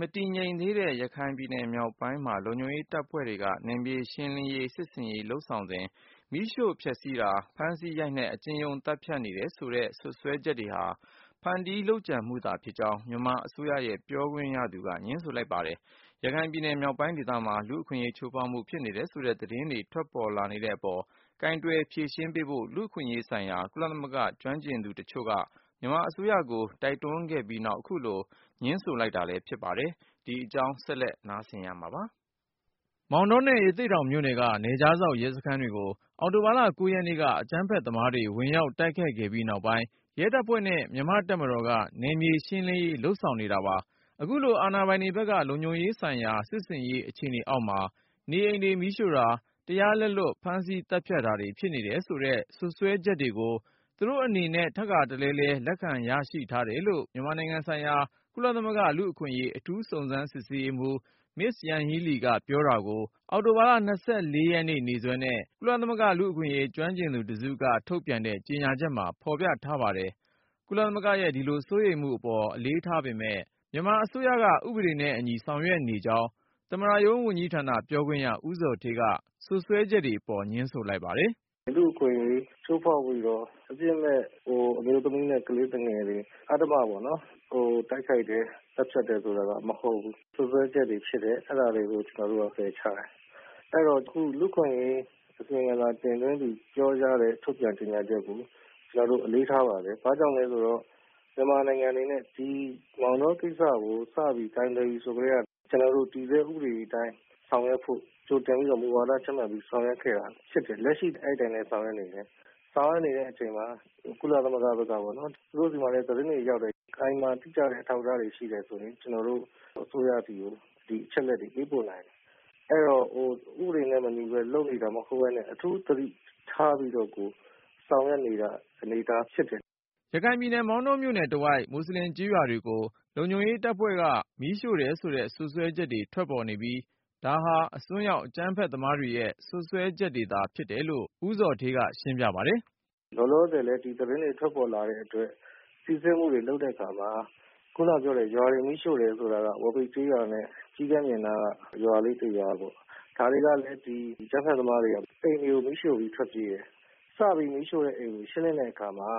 မတည်ငြိမ်သေးတဲ့ ရခိုင်ပြည်နယ်မြောက်ပိုင်းအတွင်း လုံခြုံရေးတပ်ဖွဲ့တွေက နယ်မြေရှင်းလင်းရေး စစ်ဆင်ရေး လုပ်ဆောင်စဉ် မီးရှို့ဖျက်ဆီးတာ၊ ဖမ်းဆီးရိုက်နှက် အကျဉ်းရုံးသတ်ဖြတ်နေတယ်ဆိုတဲ့ စွပ်စွဲချက်တွေဟာ ဖန်တီးလုပ်ကြံမှုသာဖြစ်ကြောင်း မြန်မာအစိုးရရဲ့ ပြောခွင့်ရသူက ငြင်းဆိုလိုက်ပါတယ်။ ရခိုင်ပြည်နယ်မြောက်ပိုင်းဒေသမှာ လူ့အခွင့်အရေးချိုးဖောက်မှု ဖြစ်နေတယ်ဆိုတဲ့ သတင်းတွေထွက် လာနေတဲ့အပေါ် ကိုင်တွယ်ဖြေရှင်းပေးဖို့ လူ့အခွင့်အရေးဆိုင်ရာ ကုလသမဂ္ဂကျွမ်းကျင်သူတချို့က မြန်မာအစိုးရကို တိုက်တွန်းခဲ့ပြီးနောက် အခုလို ငြင်းဆိုလိုက်တာဖြစ်ပါတယ်။ ဆက်သွယ်စုံစမ်းထားတဲ့ ကိုဉာဏ်ဝင်းအောင်က တင်ပြထားပါတယ်။ မောင်တောနဲ့ ရသေ့တောင်မြို့နယ်က နယ်ခြားစောင့်ရဲစခန်းတွေကို အောက်တိုဘာ ၉ ရက်နေ့က အကြမ်းဖက်သမားတွေ ဝင်ရောက်တိုက်ခိုက်ခဲ့ပြီးနောက်ပိုင်း၊ ရဲတပ်ဖွဲ့နဲ့ မြန်မာ့တပ်မတော်က နယ်မြေရှင်းလင်းရေး လုပ်ဆောင်နေတာပါ။ အခုလို အာဏာပိုင်တွေဘက်က လုံခြုံရေးဆိုင်ရာ စစ်ဆင်ရေး အခြေအနေအောက်မှာ နေအိမ်တွေမီးရှို့တာ၊ တရားလက်လွတ် ဖမ်းဆီးသတ်ဖြတ်တာတွေ ဖြစ်နေတယ်ဆိုတဲ့ စွပ်စွဲချက်တွေကို သူတို့အနေနဲ့ ထပ်ခါတလဲလဲ လက်ခံရရှိထားတယ်လို့ မြန်မာနိုင်ငံဆိုင်ရာ ကုလသမဂ္ဂလူ့အခွင့်အရေး အထူးစုံစမ်းစစ်ဆေးရေးမှူး မစ္စ ယန်ဟီးလီက ပြောတာကို အောက်တို ဘာလ ၂၄ ရက်နေ့စွဲနဲ့ ကုလသမဂ္ဂ လူ့အခွင့်အရေး ကျွမ်းကျင်သူတစုက ထုတ်ပြန်တဲ့ ကြေညာချက်မှာ ဖော်ပြထားပါတယ်။ ကုလသမဂ္ဂရဲ့ဒီလိုစိုးရိမ်မှုတွေပေါ် အလေးထားပေမယ့် မြန်မာအစိုးရက ဥပေဒနဲ့အညီဆောင်ရွက်နေကြောင်း သမ္မတရုံးဝန်ကြီးဌာနပြောခွင့်ရ ဦးဇော်ဌေးက စွပ်စွဲချက်တွေပေါ် ငြင်းဆိုလိုက်ပါတယ်။ “လူ့အခွင့်အရေးချိုးဖောက်ပြီးတော့ အပြစ်မဲ့ အမျိုးသမီးနဲ့ ကလေးသူငယ်တွေ အဓမ္မပေါ့နော် တိုက်ခိုက်တယ်၊ သတ်ဖြတ်တယ်ဆိုတာက မဟုတ်ဘူး။ စွပ်စွဲချက်တွေဖြစ်တယ်။ အဲဒါတွေကို ကျနော်တို့က ပယ်ချတယ်။ အဲတော့ အခု လူ့အခွင့်အရေး အစီရင်ခံစာ တင်သွင်းသူ ပြောကြားတဲ့ ထုတ်ပြန်ကြေညာချက်ကို ကျနော်တို့ အလေးထားပါတယ်။ ဘာကြောင့်လဲဆိုတော့ မြန်မာနိုင်ငံအနေနဲ့ စတင် ကိုင်တွယ်ပြီဆိုကတည်းက ကျနော်တို့ တည်ဆဲဥပဒေအတိုင်း ဆောင်ရွက်ဖို့ ကြိုတင်ပြီးတော့ မူဝါဒချမှတ် ဆောင်ရွက်ခဲ့တာဖြစ်တယ်။ လက်ရှိလည်း အဲဒီအတိုင်း ဆောင်ရွက်နေတာဖြစ်တယ်။ ဆောင်ရွက်နေတဲ့အချိန်မှာ ကုလသမဂ္ဂဘက်ကပေါ့နော် သူတို့ဆီမှာလည်း သတင်းတွေရောက်တယ်။ ခိုင်မာတိကျတဲ့ အထောက်အထားတွေ ရှိတယ်ဆိုရင် ကျနော်တို့ အစိုးရဆီကို ဒီအချက်အလက်တွေ ပေးပို့နိုင်ပါတယ်။ အဲတော့ ဥပဒေနဲ့မညီဘဲ လုပ်နေတာမျိုး မဟုတ်ဘဲနဲ့ အထူးသတိ ထားပြီးတော့ကို ဆောင်ရွက်နေတဲ့ အနေအထားဖြစ်တယ်။” ရခိုင်ပြည်နယ် မောင်တောမြို့နယ်တဝိုက် မူဆလင်ကျေးရွာတွေကို လုံခြုံရေးတပ်ဖွဲ့က မီးရှို့တယ်ဆိုတဲ့ စွပ်စွဲချက်တွေ ထွက်ပေါ်နေပြီး၊ ဒါတွေဟာ အစွန်းရောက် အကြမ်းဖက်သမားတွေရဲ့ စွပ်စွဲချက်တွေသာ ဖြစ်တယ်လို့ ဦးဇော်ဌေးက ရှင်းပြပါတယ်။ “လောလောဆယ်လည်း ဒီသတင်းတွေ ထွက်ပေါ်လာတဲ့အတွက် စစ်ဆေးမှုတွေ လုပ်တဲ့အခါမှာ ခုနကပြောတဲ့ ရွာတွေ မီးရှို့တယ်ဆိုတာက ဝါးပိတ်ကျေးရွာနဲ့ ကျီးကန်းပြင်နားက ရွာလေးတရွာပေါ့။ ဒါတွေကလည်း အကြမ်းဖက်သမားတွေက အိမ်တွေကို မီးရှို့ပြီး ထွက်ပြေးတယ်။ စပြီး မီးရှို့တဲ့အိမ်တွေကို ရှင်းလင်းတဲ့အခါမှာ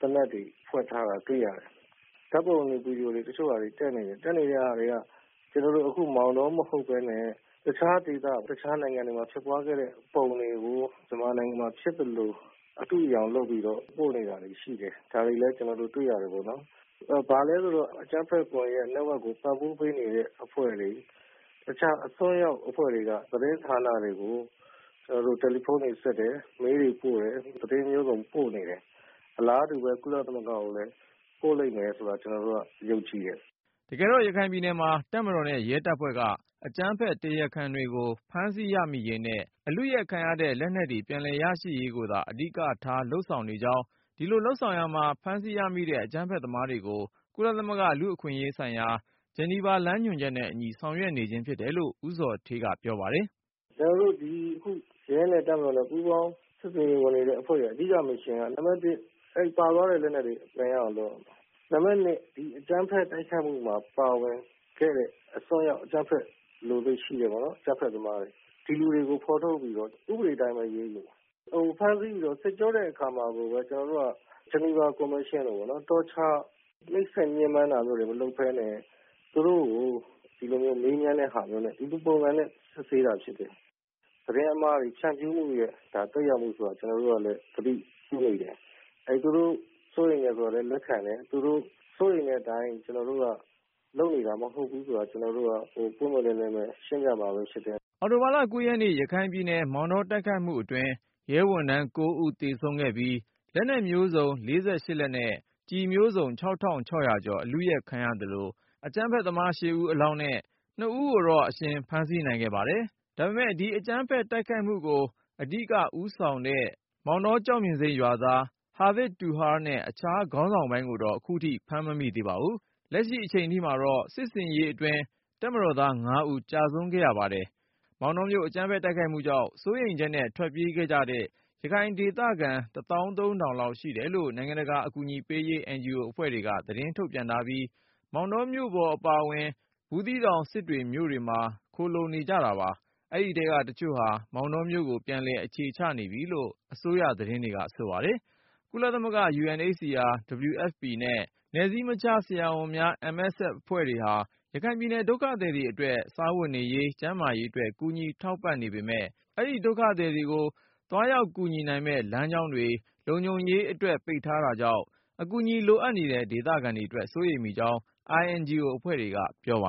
သေနတ်တွေ ဖွက်ထားတာ တွေ့ရတယ်။ ဓာတ်ပုံတွေ၊ ဗွီဒီယိုတွေ တချို့ တက်နေတာတွေ တွေ့ရတယ်။ တက်နေတဲ့ဟာတွေက ကျနော်တို့ အခု မောင်တော မဟုတ်ဘဲနဲ့ တခြားဒေသ တခြားနိုင်ငံတွေမှာ ဖြစ်ပွားခဲ့တဲ့ ပုံတွေကို မြန်မာနိုင်ငံမှာ ဖြစ်သလို၊ အတုအယောင်လုပ်ပြီးတော့ ပို့နေတာတွေရှိတယ်။ ဒါတွေလည်း ကျနော်တို့ တွေ့ရတယ်ပေါ့နော်။ ဘာလဲဆိုတော့ အကြမ်းဖက်ကွန်ယက်အဖွဲ့ကို ပံ့ပိုးပေးနေတဲ့ အဖွဲ့တွေ၊ တခြား အစွန်းရောက်အဖွဲ့တွေက သတင်းဌာနတွေကို တယ်လီဖုန်းတွေဆက်တယ်။ မေးလ်တွေ ပို့တယ်။ သတင်းမျိုးစုံပို့နေတယ်။ အလားတူပဲ ကုလသမဂ္ဂကိုလည်း ပို့လိမ့်မယ်ဆိုတာ ကျနော်တို့က ယုံကြည်တယ်။” တကယ်တော့ ရခိုင်ပြည်နယ်မှာ တပ်မတော်နဲ့ ရဲတပ်ဖွဲ့က အကြမ်းဖက်တရားခံတွေကို ဖမ်းဆီးရမိရေးနဲ့ အလုယက်ခံရတဲ့ လက်နက်တွေ ပြန်လည်ရရှိရေးကိုသာ အဓိကထားဆောင်ရွက်နေကြောင်း၊ ဒီလိုလုပ်ဆောင်ရာမှာ ဖမ်းဆီးရမိတဲ့ အကြမ်းဖက်သမားတွေကို ကုလသမဂ္ဂ လူ့အခွင့်အရေးဆိုင်ရာ ဂျနီဗာလမ်းညွှန်ချက်နဲ့အညီ ဆောင်ရွက်နေခြင်း ဖြစ်တယ်လို့ ဦးဇော်ဌေးက ရှင်းပြပါတယ်။ “အခု ရဲနဲ့ တပ်မတော်နဲ့ ပူးပေါင်း စစ်ဆင်ရေးဝင်နေတဲ့ အဖွဲ့ရဲ့ အဓိကတာဝန်က နံပါတ်တစ် အဲဒီ ပါသွားတဲ့ လက်နက်တွေ ပြန်ရအောင်လုပ်ရမယ်။ နံပါတ်နှစ် ဒီအကြမ်းဖက်တိုက်ခိုက်မှုမှာ ပါဝင်တဲ့ အစွန်းရောက်အကြမ်းဖက်လိုစိတ်ရှိတဲ့ အကြမ်းဖက်သမားတွေ ဒီလူတွေကို ဖော်ထုတ်ပြီးတော့ ဥပဒေအတိုင်းပဲ အရေးယူမယ်။ ဖမ်းဆီးစစ်ကြောတဲ့အခါမှာကိုပဲ ကျနော်တို့က ဂျနီဗာစည်းမျဉ်းစည်းကမ်းအတိုင်းပေါ့နော် နှိပ်စက်ညှဉ်းပမ်းတာမျိုးတွေ မလုပ်ဘဲနဲ့ သူတို့ကို မေးမြန်းတဲ့ ပုံစံမျိုးနဲ့ စစ်ဆေးတာဖြစ်တယ်။ သတင်းအမှား ဖြန့်ဖြူးမှုတွေရဲ့ သက်ရောက်မှုဆိုတာ ကျနော်တို့ဘက်ကလည်း သတိပြုမိတယ်။ သူတို့စိုးရိမ်တယ်ဆိုတာလည်း လက်ခံတယ်။ သူတို့စိုးရိမ်တဲ့အတိုင်း ကျနော်တို့က လုပ်နေတာမဟုတ်ဘူးဆိုတာကို ကျနော်တို့က ပွင့်ပွင့်လင်းလင်းပဲ ရှင်းပြမှာဖြစ်တယ်။” အောက်တိုဘာလ ၉ ရက်နေ့ ရခိုင်ပြည်နယ် မောင်တောတိုက်ခိုက်မှုအတွင်း ရဲဝန်ထမ်း ၉ ဦးသေဆုံးခဲ့ပြီး၊ လက်နက်မျိုးစုံ ၄၈ လက်နဲ့ ကျည် မျိုးစုံ ၆၆၀၀ ကျော် အလုယက်ခံရသလို အကြမ်းဖက်သမား ၈ ဦး အလောင်းနဲ့ ၂ ဦးကို အရှင်ဖမ်းဆီးနိုင်ခဲ့ပါတယ်။ ဒါပေမဲ့ ဒီအကြမ်းဖက် တိုက်ခိုက်မှုကို အဓိကဦးဆောင်တဲ့ မောင်တော ကျောက်ပြင်ဆိပ် ရွာသား ‘ဟာဗစ်တူဟာရ်’ နဲ့ အခြားခေါင်းဆောင်ပိုင်းကိုတော့ ခုထိ ဖမ်းမမိ သေးပါဘူး။ လက်ရှိအချိန်ထိ စစ်ဆင်ရေးအတွင်း တပ်မတော်သား ၅ဦးကျဆုံးခဲ့ပါတယ်။ မောင်တောမြို့ အကြမ်းဖက် တိုက်ခိုက်မှုကြောင့် စိုးရိမ်ချက်နဲ့ ထွက်ပြေးခဲ့ကြတဲ့ ရခိုင်ဒေသခံ ၁ သောင်း ၃ ထောင်လောက်ရှိတယ်လို့ နိုင်ငံတကာ အကူအညီပေးရေး NGO အဖွဲ့တွေက သတင်း ထုတ်ပြန်ထားပြီး၊ မောင်တောမြို့ပေါ်အပါအဝင်၊ ဘူးသီးတောင် စစ်တွေမြို့တွေမှာ ခိုလှုံနေကြပါတယ်။ အဲဒီထဲက တချို့ဟာ မောင်တောမြို့ကို ပြန်လည်အခြေချနေကြပြီလို့ အစိုးရသတင်းတွေက ဆိုပါတယ်။ ကုလသမဂ္ဂ UNHCR, WFP နဲ့ နယ်စည်းမခြားဆရာဝန်များအဖွဲ့ MSF အဖွဲ့တွေဟာ ရခိုင်ပြည်နယ် ဒုက္ခသည်တွေအတွက် စားဝတ်နေရေး၊ ကျန်းမာရေးအတွက် ကူညီထောက်ပံ့နေပေမယ့်၊ အဲဒီဒုက္ခသည်တွေကို သွားရောက်ကူညီနိူင်မယ့် လမ်းကြောင်းတွေ လုံခြုံရေးအတွက် ပိတ်ထားတာကြောင့် အကူအညီလိုနေတဲ့ ဒေသခံတွေအတွက် စိုးရိမ်မိကြောင်း INGO အဖွဲ့တွေက ပြောပါ